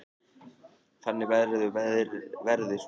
Þannig verður verðið svona.